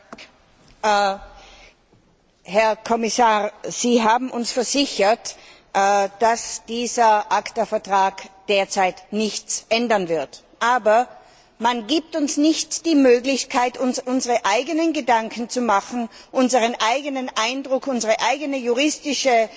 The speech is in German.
Herr Präsident! Herr Kommissar, Sie haben uns versichert, dass dieser ACTA Vertrag derzeit nichts ändern wird. Aber man gibt uns nicht die Möglichkeit, uns unsere eigenen Gedanken zu machen, einen eigenen Eindruck zu gewinnen, unsere eigene juristische